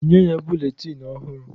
Nye ya buletin ọhụrụ!